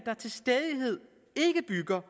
der